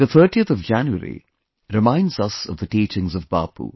The 30th of January reminds us of the teachings of Bapu